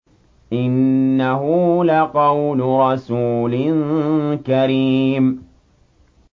إِنَّهُ لَقَوْلُ رَسُولٍ كَرِيمٍ